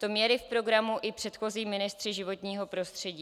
To měli v programu i předchozí ministři životního prostředí.